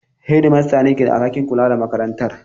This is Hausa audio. Shedimastan ne ke da alhakin kula da makarantar.